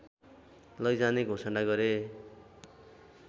लैजाने घोषणा गरे